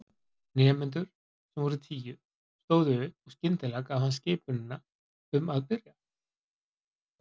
Nemendur, sem voru tíu, stóðu upp og skyndilega gaf hann skipunina um að byrja.